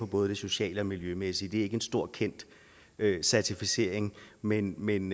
både det sociale og miljømæssige det er ikke en stor kendt certificering men men